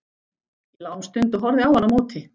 Ég lá um stund og horfði á hann á móti.